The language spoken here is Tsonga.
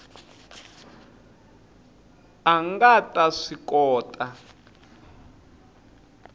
a nga ta swi kota